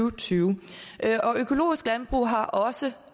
og tyve og økologisk landbrug har også